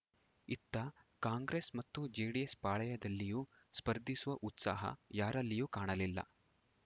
ಇತ್ತ ಕಾಂಗ್ರೆಸ್‌ ಮತ್ತು ಜೆಡಿಎಸ್‌ ಪಾಳಯದಲ್ಲಿಯೂ ಸ್ಪರ್ಧಿಸುವ ಉತ್ಸಾಹ ಯಾರಲ್ಲಿಯೂ ಕಾಣಲಿಲ್ಲ